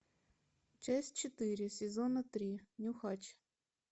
часть четыре сезона три нюхач